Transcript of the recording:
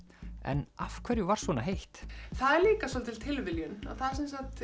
en af hverju var svona heitt það er líka svolítil tilviljun þar